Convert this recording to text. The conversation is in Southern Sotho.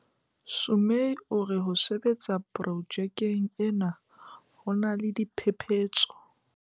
Sumay o re ho sebetsa pro jekeng ena ho na le diphephetso.